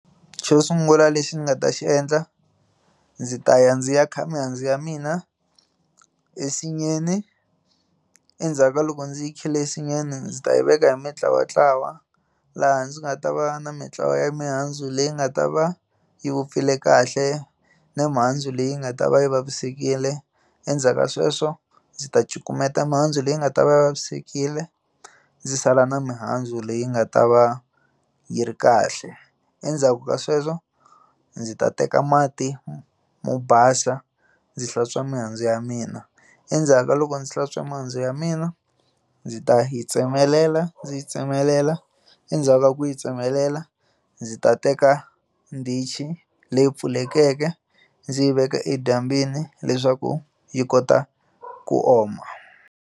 Xo sungula lexi ndzi nga ta xi endla ndzi ta ya ndzi ya kha mihandzu ya mina ensinyeni endzhaku ka loko ndzi yi khale ensinyenu ndzi ta yi veka hi mintlawantlawa laha ndzi nga ta va na mintlawa ya mihandzu leyi nga ta va yi vupfile kahle na mihandzu leyi nga ta va yi vavisekile endzhaku ka sweswo ndzi ta cukumeta mihandzu leyi nga ta va vavisekile ndzi sala na mihandzu leyi nga ta va yi ri kahle endzhaku ka sweswo ndzi ta teka mati mo mo basa ndzi hlantswa mihandzu ya mina endzhaku ka loko ndzi hlantswa mihandzu ya mina ndzi ta yi tsemelela ndzi yi tsemelela endzhaku ka ku yi tsemelela ndzi ta teka ndzi ndichi leyi pfulekeke ndzi yi veka edyambyini leswaku yi kota ku oma.